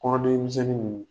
Kɔnɔdimi misɛnnin ninnu.